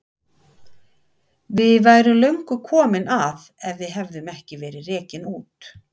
Við værum löngu komin að ef við hefðum ekki verið rekin út.